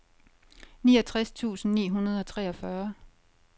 niogtres tusind ni hundrede og treogfyrre